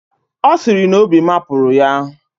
Ọ sịrị na obi mapụrụ ya.